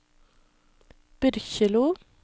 Byrkjelo